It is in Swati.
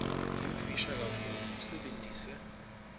yimfisha kakhulu usebentise